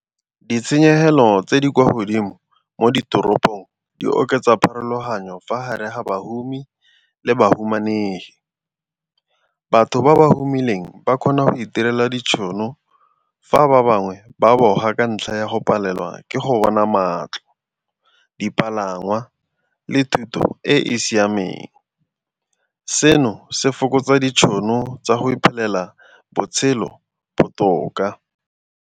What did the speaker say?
Ditshenyegelo tse di kwa godimo mo ditoropong di oketsa pharologanyo fa gare ga badumedi le bahumanegi. Batho ba ba humanegileng ba kgona go itirela ditšhono fa ba bangwe ba boifa ka ntlha ya go palelwa ke go bona matlo dipalangwa le thuto e e siameng. Seno se fokotsa ditšhono tsa go iphelela botshelo botoka.